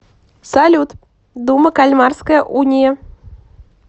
салют дума кальмарская уния